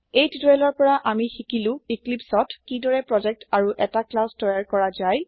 এই টিউটৰিয়েল ৰ পৰা আমি সিকিলো ইক্লিপ্চত কি দৰে প্ৰোজেক্ট আৰু এটা ক্লাচ তৈয়াৰ কৰা যায়